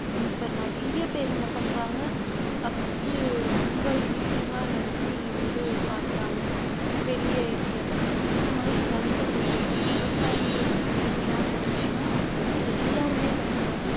இப்ப நிறைய பேர் என்ன பண்றாங்க அதை வந்து ரொம்ப இழிவா நடத்தி வந்து பாக்குறாங்க பெரிய இதுல இருக்கிறவங்க அந்த மாதிரி நினைக்கக் கூடாது எப்பவுமே விவசாயம்ன்றது மேன்மையான ஒரு விஷயம் அதை வந்து எல்லாருமே படிக்கணும்